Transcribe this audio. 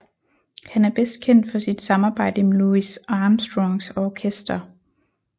Han er bedst kendt for sit samarbejde med Louis Armstrongs orkester